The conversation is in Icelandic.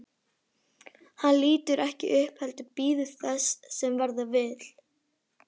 Hann lítur ekki upp heldur bíður þess sem verða vill.